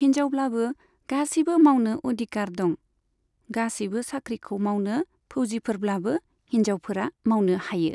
हिनजावब्लाबो गासैबो मावनो अधिकार दं, गासैबो साख्रिखौ मावनो फौजिफोरब्लाबो हिनजावफोरा मावनो हायो।